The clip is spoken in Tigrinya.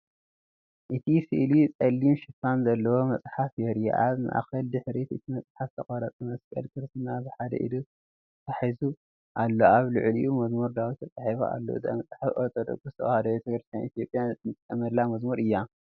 እቲ ስእሊ ጸሊም ሽፋን ዘለዎ መጽሓፍ የርኢ። ኣብ ማእኸል ድሕሪት እቲ መፅሓፍ ዝተቐርፀ መስቀል ክርስትና ብሓደ ኢዱ ተታሒዙ ኣሎ። ኣብ ልዕሊኡ “መዝሙር ዳዊት” ተጻሒፉ ኣሎ። እዛ መጽሓፍ ኦርቶዶክሳዊት ተዋህዶ ቤተ ክርስቲያን ኢትዮጵያ እትጥቀመላ መዝሙር እያ።